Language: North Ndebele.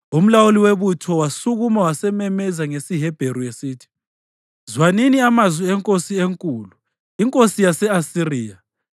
Umlawuli webutho wasukuma wasememeza ngesiHebheru esithi, “Zwanini amazwi enkosi enkulu, inkosi yase-Asiriya!